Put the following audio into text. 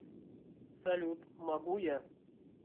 салют могу я